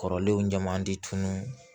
Kɔrɔlenw ɲama di tunun